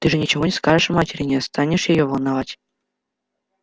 ты же ничего не скажешь матери не станешь её волновать